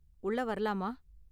உள்ள வரலாமா?